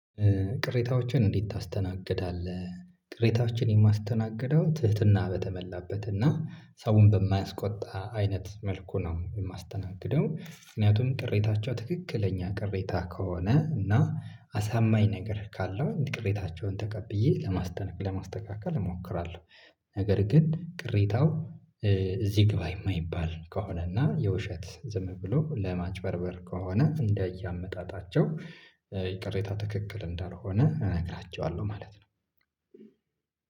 ቅሬታዎችን እንዴት ታስተናግዳለህ? ቅሬታዎችን የማስተናግደው ትህትና በተመላበት እና ሰውን በማያስቆጣ አይነት መልኩ ነው። የማስተናግደው ምክንያቱም ቅሬታቸው ትክክለኛ ቅሬታ ከሆነ እና አሳማኝ ነገር ካለው ቅሬታቸውን ተቀብዬ ለማስተካከል እሞክራለሁ ነገር ግን ቅሬታው እዚህ ግባ የማይባል ከሆነ እና የውሸት ዝም ብሎ ለማጭበርበር ከሆነ እንዳያመጣጣቸው ይቅሬታ ትክክል እንዳልሆነ እነግራችኋለሁ ማለት ነው